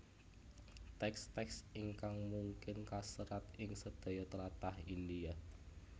Teks teks ingkang mungkin kaserat ing sedaya tlatah India